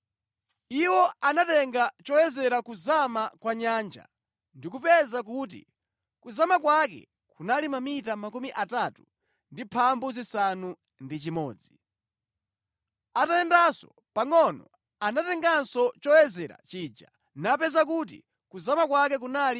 Iwo anatenga choyezera kuzama kwa nyanja ndi kupeza kuti kuzama kwake kunali mamita 36. Atayendanso pangʼono anatenganso choyezera chija napeza kuti kuzama kwake kunali 27.